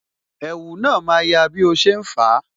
Ẹ̀wù na ma ya bí o ṣe ń fa